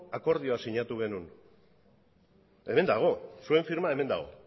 akordioa sinatu genuen hemen dago zuen firma hemen dago